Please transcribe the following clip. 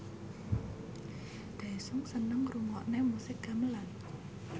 Daesung seneng ngrungokne musik gamelan